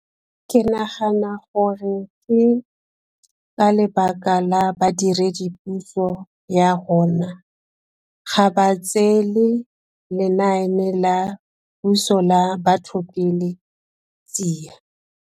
Ke nagana gore ke ka lebaka la badiredipuso ya rona. Ga ba tseele lenaane la puso la batho pele tsia.